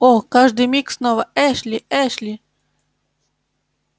о каждый миг снова эшли эшли